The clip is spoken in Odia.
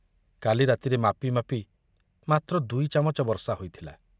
କାଲି ରାତିରେ ମାପି ମାପି ମାତ୍ର ଦୁଇ ଚାମଚ ବର୍ଷା ହୋଇଥିଲା।